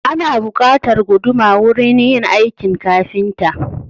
Ana buƙatar guduma wurin yin aikin kafinta.